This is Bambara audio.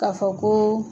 K'a fɔ ko